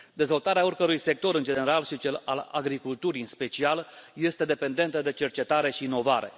Dezvoltarea oricărui sector în general și cel al agriculturii în special este dependentă de cercetare și inovare.